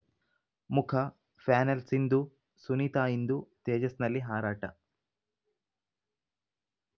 ಮುಖ ಪ್ಯಾನೆಲ್‌ ಸಿಂಧು ಸುನೀತಾ ಇಂದು ತೇಜಸ್‌ನಲ್ಲಿ ಹಾರಾಟ